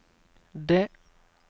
det